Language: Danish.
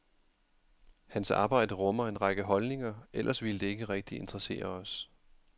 Hans arbejde rummer en række holdninger, ellers ville det ikke rigtig interessere os.